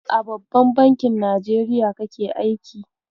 A babban bankin Najeriya kake aiki?